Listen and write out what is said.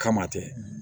Kama tɛ